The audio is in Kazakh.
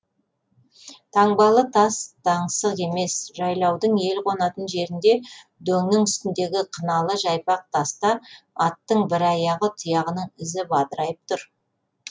таңбалы тас таңсық емес жайлаудың ел қонатын жерінде дөңнің үстіндегі қыналы жайпақ таста аттың бір аяғы тұяғының ізі бадырайып тұр